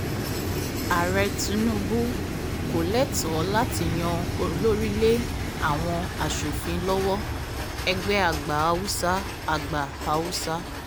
ààrẹ tinubu kò lẹ́tọ̀ọ́ láti yan olórí lé àwọn aṣòfin lọ́wọ́ -ẹgbẹ́ àgbà haúsá àgbà haúsá